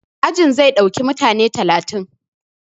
Ajin zai ɗauki mutane talatin